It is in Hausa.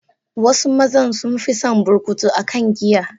Wasu mazan sun fison burkutu akan giya.